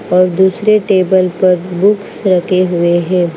और दूसरे टेबल पर बुक्स रखे हुए है।